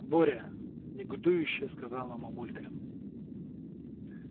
боря негодующе сказала мамулька